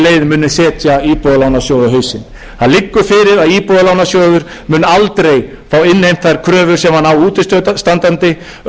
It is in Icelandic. muni setja íbúðalánasjóð á hausinn það liggur fyrir að íbúðalánasjóður mun aldrei fá innheimtar kröfur sem hann á útistandandi auk þess sem búið